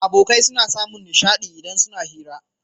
Abokai suna samun nishadi idan suna hira